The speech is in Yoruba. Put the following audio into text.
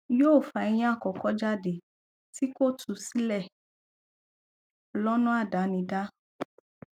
yóò fa eyín àkọkọ jáde tí kò tú sílẹ lọnà àdánidá